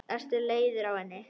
Ertu leiður á henni?